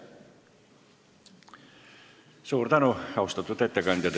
Suur tänu, austatud ettekandja!